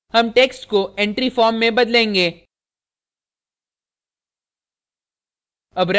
हम text को entry form में बदलेंगे